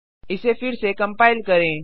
इसे फिर से कंपाइल करें